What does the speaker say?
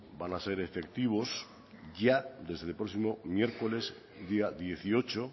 van a ser efectivos ya desde el próximo miércoles día dieciocho